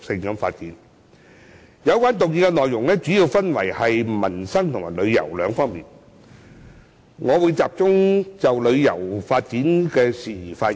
有關議案內容主要分為民生和旅遊兩方面，我會集中就旅遊發展的事宜發言。